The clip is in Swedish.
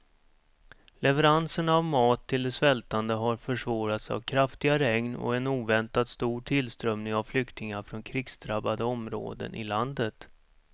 Leveranserna av mat till de svältande har försvårats av kraftiga regn och en oväntat stor tillströmning av flyktingar från krigsdrabbade områden i landet.